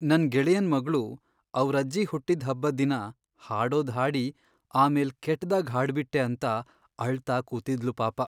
ನನ್ ಗೆಳೆಯನ್ ಮಗ್ಳು, ಅವ್ರಜ್ಜಿ ಹುಟ್ಟಿದ್ ಹಬ್ಬದ್ ದಿನ ಹಾಡೋದ್ ಹಾಡಿ ಆಮೇಲ್ ಕೆಟ್ದಾಗ್ ಹಾಡ್ಬಿಟ್ಟೆ ಅಂತ ಅಳ್ತಾ ಕೂತಿದ್ಳು ಪಾಪ.